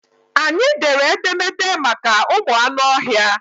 Anyị dere edemede maka ụmụ anụ ọhịa.